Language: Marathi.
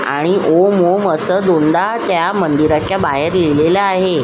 आणि ओम ओम अस दोनदा त्या मंदिराच्या बाहेर लिहिलेल आहे.